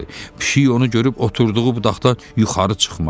Pişik onu görüb oturduğu budaqdan yuxarı çıxmadı.